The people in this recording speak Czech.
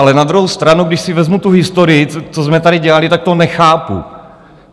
Ale na druhou stranu, když si vezmu tu historii, co jsme tady dělali, tak to nechápu.